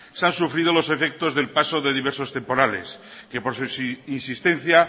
se han sufrido los efectos del paso de diversos temporales que por su insistencia